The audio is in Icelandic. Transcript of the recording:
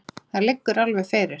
Það liggur alveg fyrir.